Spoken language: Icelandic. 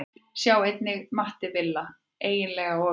Sjá einnig: Matti Villa: Eiginlega of létt